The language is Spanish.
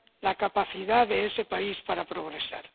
la capacidad de ese país para progresar.